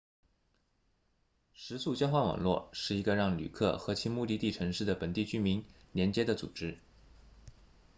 食宿交换网络是一个让旅客和其目的地城市的本地居民连接的组织